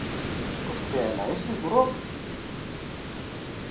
ku sukela hi siku ro